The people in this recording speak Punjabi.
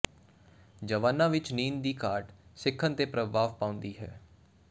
ਜਵਾਨਾਂ ਵਿਚ ਨੀਂਦ ਦੀ ਘਾਟ ਸਿੱਖਣ ਤੇ ਪ੍ਰਭਾਵ ਪਾਉਂਦੀ ਹੈ